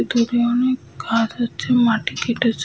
দূরে অনেক গাছ আছে মাটি কেটেছে।